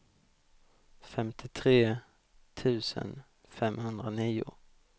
femtiotre tusen femhundranio